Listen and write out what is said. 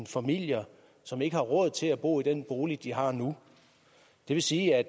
familier som ikke har råd til at bo i den bolig de har nu det vil sige at